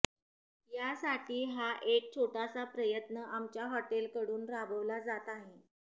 यासाठी हा एक छोटासा प्रयत्न आमच्या हॉटेलकडून राबवला जात आहे